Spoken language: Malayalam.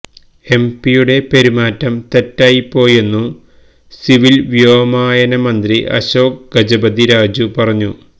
എംപിയുടെ പെരുമാറ്റം തെറ്റായിപ്പോയെന്നു സിവിൽ വ്യോമയാന മന്ത്രി അശോക് ഗജപതി രാജു പറഞ്ഞു